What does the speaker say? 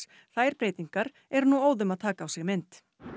þær breytingar eru nú óðum að taka á sig mynd